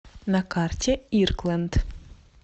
на карте иркленд